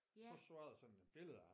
Så var der sådan et billede af